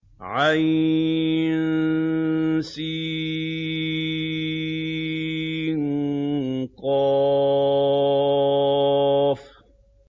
عسق